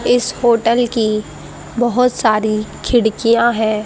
इस होटल की बहोत सारी खिड़कियां है।